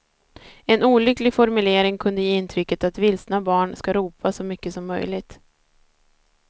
En olycklig formulering kunde ge intrycket att vilsna barn ska ropa så mycket som möjligt.